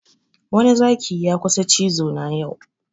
Wani Zaki ya kusa cizo na yau